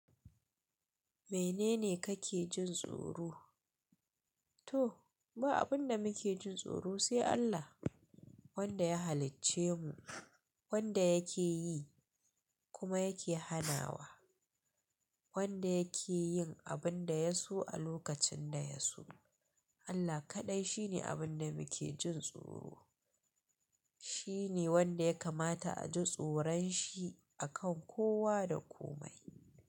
Menene kake jin tsoro? To, ba abun da muke jin tsoro sai Allah wanda ya halicce mu, wanda yake yi kuma yake hanawa, wanda yake yin abun da ya so a lokacin da ya so. Allah kaɗai shine abin da muke jin tsoro. Shi ne wanda ya kamata a ji tsoron shi akan kowa da komai.